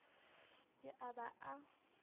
ke a ba a e